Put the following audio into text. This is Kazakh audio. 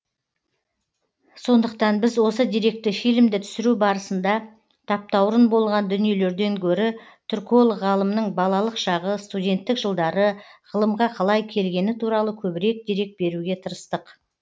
сондықтан біз осы деректі фильмді түсіру барысында таптаурын болған дүниелерден гөрі түрколог ғалымның балалық шағы студенттік жылдары ғылымға қалай келгені туралы көбірек дерек беруге тырыстық